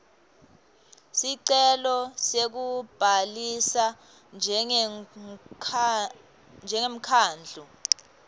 sicelo sekubhalisa njengemkhandlu